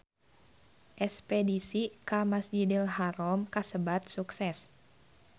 Espedisi ka Masjidil Haram kasebat sukses